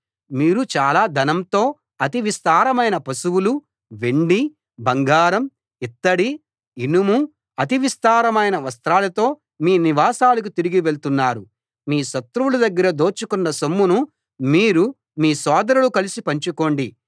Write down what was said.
మీరు చాలా ధనంతో అతి విస్తారమైన పశువులూ వెండి బంగారం ఇత్తడి ఇనుము అతి విస్తారమైన వస్త్రాలతో మీ నివాసాలకు తిరిగి వెళ్తున్నారు మీ శత్రువుల దగ్గర దోచుకున్న సొమ్మును మీరు మీ సోదరులు కలిసి పంచుకోండి